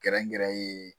Gɛrɛgɛrɛ ye